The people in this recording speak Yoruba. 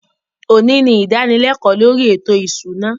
Òní ni ìdánilékòó lórí ètò ìṣúná